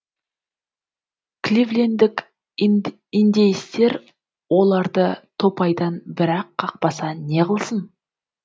кливлендік индейстер оларды топайдан бір ақ қақпаса неғылсын